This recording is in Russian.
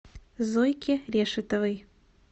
зойке решетовой